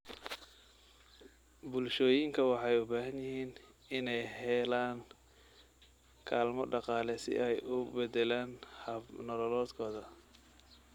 Bulshooyinka waxay u baahan yihiin inay helaan kaalmo dhaqaale si ay u beddelaan hab-nololeedkooda.